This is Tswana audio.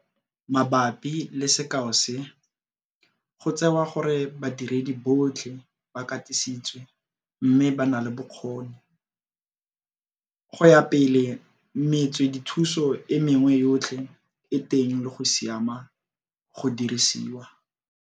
Mabapi le sekao se, go tsewa gore badiredi botlhe ba katisitswe mme ba na le bokgoni. Go ya pele metswedithuso e mengwe yotlhe e teng le go siama go dirisiwa.